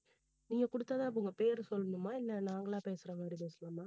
நீங்க குடுத்ததா அப்ப உங்க பேரு சொல்லனுமா இல்ல நாங்களா பேசுற மாதிரி பேசலாமா